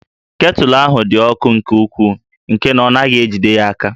Ketụlụ ahụ dị ọkụ nke ukwuu nke na ọ naghị ejide ya